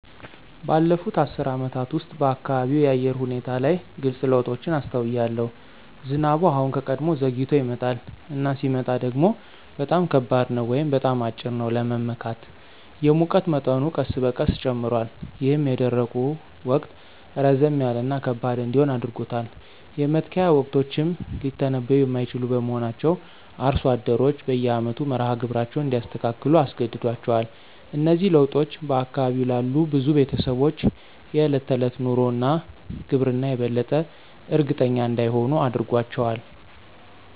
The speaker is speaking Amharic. ባለፉት አስርት ዓመታት ውስጥ፣ በአካባቢው የአየር ሁኔታ ላይ ግልጽ ለውጦችን አስተውያለሁ። ዝናቡ አሁን ከቀድሞው ዘግይቶ ይመጣል፣ እና ሲመጣ ደግሞ በጣም ከባድ ነው ወይም በጣም አጭር ነው ለመመካት። የሙቀት መጠኑ ቀስ በቀስ ጨምሯል, ይህም የደረቁ ወቅት ረዘም ያለ እና ከባድ እንዲሆን አድርጎታል. የመትከያ ወቅቶችም ሊተነብዩ የማይችሉ በመሆናቸው አርሶ አደሮች በየአመቱ መርሃ ግብራቸውን እንዲያስተካክሉ አስገድዷቸዋል. እነዚህ ለውጦች በአካባቢው ላሉ ብዙ ቤተሰቦች የዕለት ተዕለት ኑሮ እና ግብርና የበለጠ እርግጠኛ እንዳይሆኑ አድርጓቸዋል።